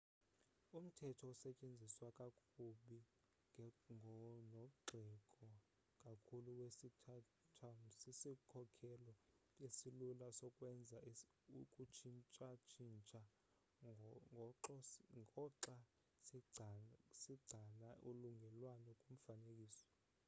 umthetho osetyenziswa kakubi nogxekwa kakhulu wesithathum sisikhokhelo esilula sokwenza ukutshintshatshintsha ngoxa sigcana ulungelelwano kumfanekiso